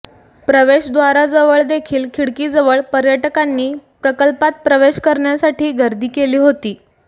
प्रवेशद्वाराजवळदेखील खिडकीजवळ पर्यटकांनी प्रकल्पात प्रवेश करण्यासाठी गर्दी केली होती